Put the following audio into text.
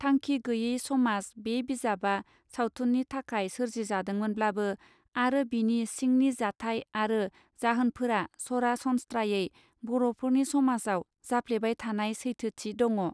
थांखि गैये समाज बे बिजाबा सावथुननि थाखाय सोरजि जादोंमोनब्लाबो आरो बिनि सिंनि जाथाय आरो जाहोनफोरा सरा सनस्त्रायै बरफोरनि समाजाव जाफ्लेबाय थानाय सैथोथि दङ.